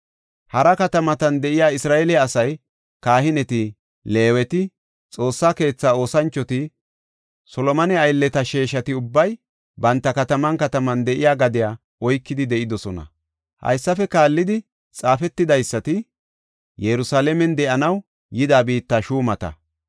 Hara katamatan de7iya Isra7eele asay, kahineti, Leeweti, Xoossa keetha oosanchoti, Solomone aylleta sheeshati ubbay banta kataman kataman de7iya gadiya oykidi de7idosona. Haysafe kaallidi xaafetidaysati, Yerusalaamen de7anaw yida biitta shuumata;